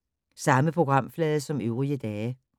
Samme programflade som øvrige dage